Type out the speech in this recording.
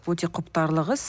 өте құптарлық іс